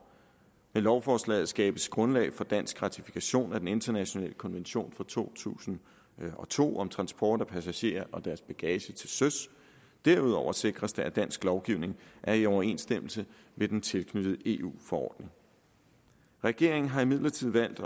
i lovforslaget skabes grundlag for dansk ratifikation af den internationale konvention fra to tusind og to om transport af passagerer og deres bagage til søs derudover sikres det at dansk lovgivning er i overensstemmelse med den tilknyttede eu forordning regeringen har imidlertid valgt